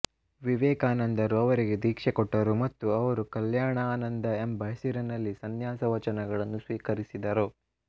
ವಿವೇಕಾನಂದರು ಅವರಿಗೆ ದೀಕ್ಷೆ ಕೊಟ್ಟರು ಮತ್ತು ಅವರು ಕಲ್ಯಾಣಾನಂದ ಎಂಬ ಹೆಸರಿನಲ್ಲಿ ಸಂನ್ಯಾಸ ವಚನಗಳನ್ನು ಸ್ವೀಕರಿಸಿದರು